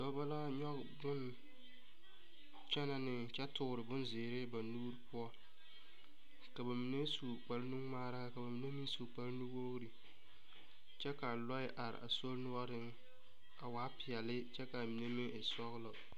Dɔba la a nyoge bon kyɛne ne kyɛ toore bon ziire ba nuure poʊ. Ka ba mene su kpar nu ŋmaara ka ba mene meŋ su kpar nu wogre. Kyɛ ka lɔe are a sori nuoreŋ a waa piɛle kyɛ ka mene meŋ e sɔglɔ.